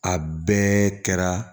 A bɛɛ kɛra